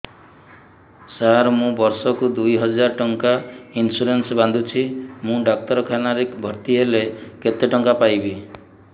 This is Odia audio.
ସାର ମୁ ବର୍ଷ କୁ ଦୁଇ ହଜାର ଟଙ୍କା ଇନ୍ସୁରେନ୍ସ ବାନ୍ଧୁଛି ମୁ ଡାକ୍ତରଖାନା ରେ ଭର୍ତ୍ତିହେଲେ କେତେଟଙ୍କା ପାଇବି